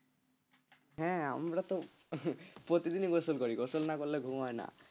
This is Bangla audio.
হ্যাঁ আমরা তো প্রতিদিনই গোসল করি গোসল না করলে ঘুম হয় না।